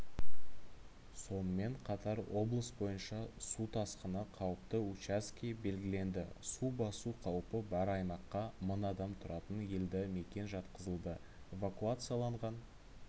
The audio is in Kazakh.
сонымен қатар облыс бойынша су тасқыны қауіпті учаске белгіленді су басу қаупі бар аймаққа мың адам тұратын елді мекен жатқызылды эвакуацияланған